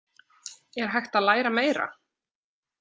Er hægt að læra meira?